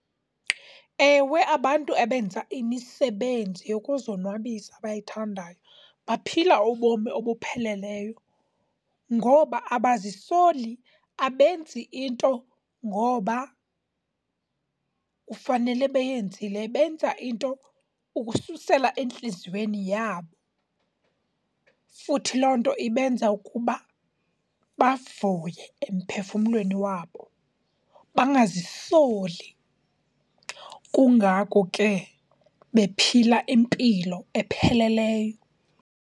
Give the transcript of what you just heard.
Ewe abantu abenza imisebenzi yokuzonwabisa abayithandayo baphila ubomi obupheleleyo ngoba abazisoli, abenzi into ngoba kufanele beyenzile, benza into ukususela entliziyweni yabo. Futhi loo nto ibenza ukuba bavuye emphefumlweni wabo bangazisoli, kungako ke bephila impilo epheleleyo.